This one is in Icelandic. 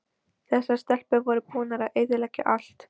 Þessar stelpur voru búnar að eyðileggja allt!